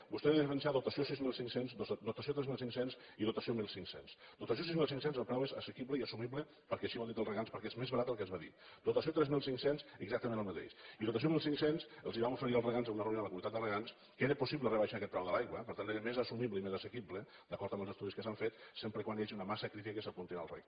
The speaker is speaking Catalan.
vostè ha de diferenciar dotació sis mil cinc cents dotació tres mil cinc cents i dotació mil cinc cents dotació sis mil cinc cents el preu és assequible i assumible perquè així ho han dit els regants perquè és més barat del que es va dir dotació tres mil cinc cents exactament el mateix i dotació mil cinc cents els vam oferir als regants en una reunió amb la comunitat de regants que era possible rebaixar aquest preu de l’aigua per tant més assumible i més assequible d’acord amb els estudis que s’han fet sempre que hi hagi una massa crítica que s’apunti al reg